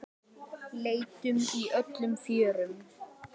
Leitum í öllum fjörum.